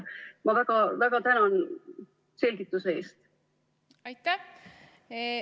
Ma väga tänan selgituse eest!